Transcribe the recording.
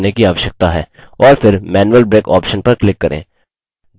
और फिर manual break option पर click करें